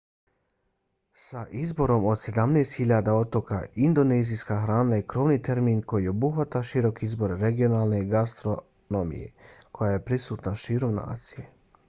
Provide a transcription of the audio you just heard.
sa izborom od 17.000 otoka indonezijska hrana je krovni termin koji obuhvata širok izbor regionalne gastronomije koja je prisutna širom nacije